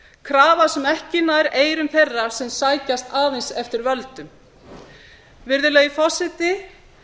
krafa sem ekki nær eyrum þeirra sem sækjast aðeins eftir völdum virðulegi forseti